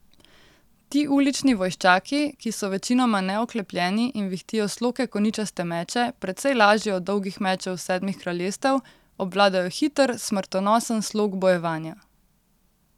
Ti ulični vojščaki, ki so večinoma neoklepljeni in vihtijo sloke koničaste meče, precej lažje od dolgih mečev Sedmih kraljestev, obvladajo hiter, smrtonosen slog bojevanja.